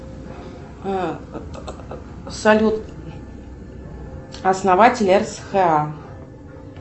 салют основатель рсха